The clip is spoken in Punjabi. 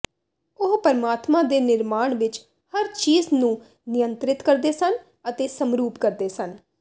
ਉਹ ਪਰਮਾਤਮਾ ਦੇ ਨਿਰਮਾਣ ਵਿਚ ਹਰ ਚੀਜ਼ ਨੂੰ ਨਿਯੰਤਰਿਤ ਕਰਦੇ ਸਨ ਅਤੇ ਸਮਰੂਪ ਕਰਦੇ ਸਨ